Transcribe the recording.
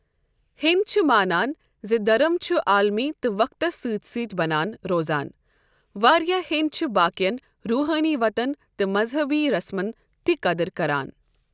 ہہیٚنٛدۍ چھِ مانان زِ دھرم چھ عالمی تہٕ وقتس سِۭتۍ سۭتۍ بنان روزان ، وارِیاہ ہیٚنٛدۍ چھِ باقین روٗحٲنی وتن تہٕ مزہبی رسمن تِہ قدر كران ۔